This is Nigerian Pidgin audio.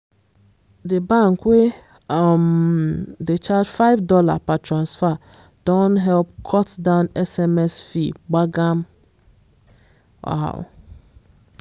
di bank wey um dey charge $5 per transfer don help cut down sms fee gbagam. um